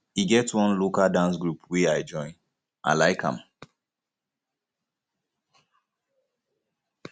e get one local dance group wey um i join i like um am